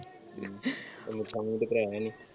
ਮੀਠਾ ਮੂੰਹ ਤੇ ਕਰਾਇਆ ਨੀ ।